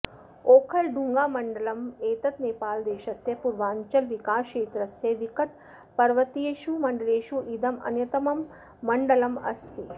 ओखलढुंगामण्डलम् एतत् नेपालदेशस्य पुर्वाञ्चलविकासक्षेत्रस्य विकटपर्वतीयेषु मण्डलेषु इदं अन्यतमं मण्डलं अस्ति